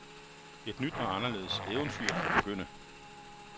Et nyt og anderledes eventyr kan begynde.